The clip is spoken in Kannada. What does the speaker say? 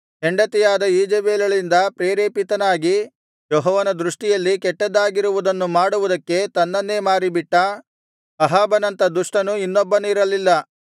ಹೆಂಡತಿಯಾದ ಈಜೆಬೆಲಳಿಂದ ಪ್ರೇರೇಪಿತನಾಗಿ ಯೆಹೋವನ ದೃಷ್ಟಿಯಲ್ಲಿ ಕೆಟ್ಟದ್ದಾಗಿರುವುದನ್ನು ಮಾಡುವುದಕ್ಕೆ ತನ್ನನ್ನೇ ಮಾರಿಬಿಟ್ಟ ಅಹಾಬನಂಥ ದುಷ್ಟನು ಇನ್ನೊಬ್ಬನಿರಲಿಲ್ಲ